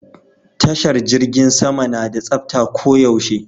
Tashar jirgin sama na da tsafta ko yaushe